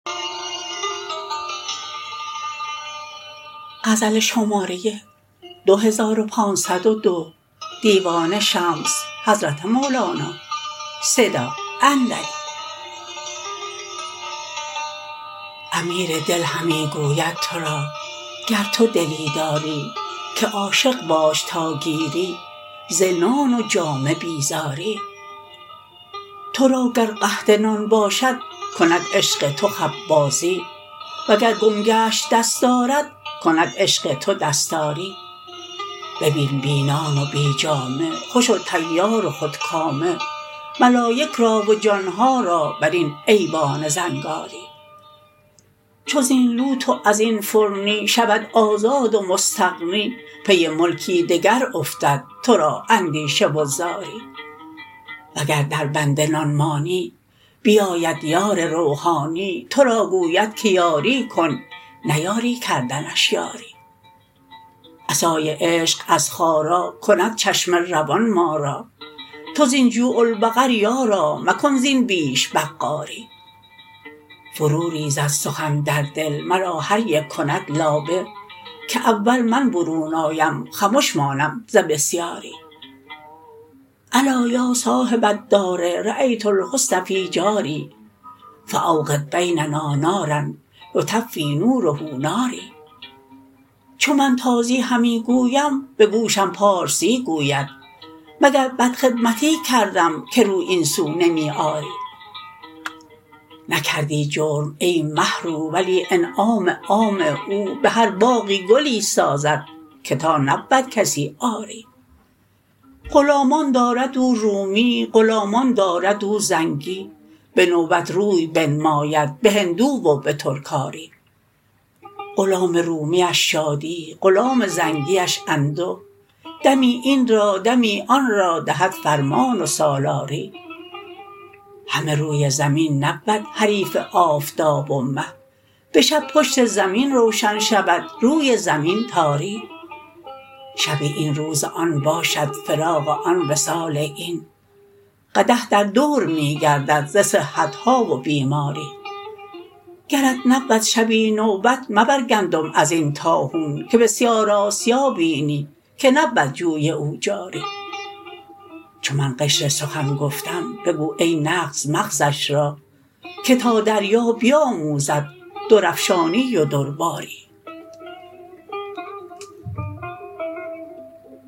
امیر دل همی گوید تو را گر تو دلی داری که عاشق باش تا گیری ز نان و جامه بیزاری تو را گر قحط نان باشد کند عشق تو خبازی وگر گم گشت دستارت کند عشق تو دستاری ببین بی نان و بی جامه خوش و طیار و خودکامه ملایک را و جان ها را بر این ایوان زنگاری چو زین لوت و از این فرنی شود آزاد و مستغنی پی ملکی دگر افتد تو را اندیشه و زاری وگر دربند نان مانی بیاید یار روحانی تو را گوید که یاری کن نیاری کردنش یاری عصای عشق از خارا کند چشمه روان ما را تو زین جوع البقر یارا مکن زین بیش بقاری فروریزد سخن در دل مرا هر یک کند لابه که اول من برون آیم خمش مانم ز بسیاری الا یا صاحب الدار رایت الحسن فی جاری فاوقد بیننا نارا یطفی نوره ناری چو من تازی همی گویم به گوشم پارسی گوید مگر بدخدمتی کردم که رو این سو نمی آری نکردی جرم ای مه رو ولی انعام عام او به هر باغی گلی سازد که تا نبود کسی عاری غلامان دارد او رومی غلامان دارد او زنگی به نوبت روی بنماید به هندو و به ترکاری غلام رومیش شادی غلام زنگیش انده دمی این را دمی آن را دهد فرمان و سالاری همه روی زمین نبود حریف آفتاب و مه به شب پشت زمین روشن شود روی زمین تاری شب این روز آن باشد فراق آن وصال این قدح در دور می گردد ز صحت ها و بیماری گرت نبود شبی نوبت مبر گندم از این طاحون که بسیار آسیا بینی که نبود جوی او جاری چو من قشر سخن گفتم بگو ای نغز مغزش را که تا دریا بیاموزد درافشانی و درباری